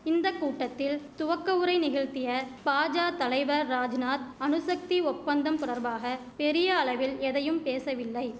இந்த கூட்டத்தில் துவக்கவுரை நிகழ்த்திய பாஜா தலைவர் ராஜ்நாத் அணுசக்தி ஒப்பந்தம் தொடர்பாக பெரிய அளவில் எதையும் பேசவில்லை